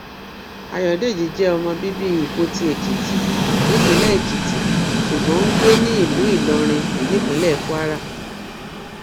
ayọdèjì jẹ ọmọ bíbí ìpótì èkìtì nípìnlẹ èkìtì ṣùgbọn tó ń gbé ní ìlú ìlọrin nípínlẹ kwara